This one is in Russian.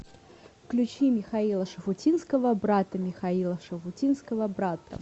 включи михаила шуфутинского брато михаила шафутинского брато